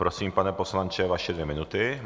Prosím, pane poslanče, vaše dvě minuty.